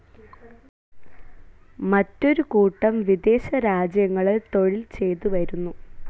മറ്റൊരു കൂട്ടം വിദേശ രാജ്യങ്ങളിൽ തൊഴിൽ ചെയ്തു വരുന്നു.